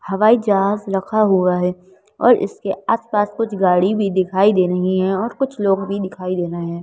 हवाई जहाज़ रखा हुआ है और इसके आसपास कुछ गाड़ी भी दिखाई दे रही हैं और कुछ लोग भी दिखाई दे रहे हैं।